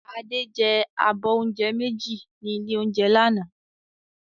Adé jẹ abọ́ oúnjẹ méjì ní ilé-oúnjẹ lánàá